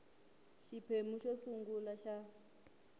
ka xiphemu xo sungula xa